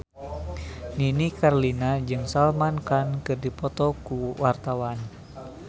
Nini Carlina jeung Salman Khan keur dipoto ku wartawan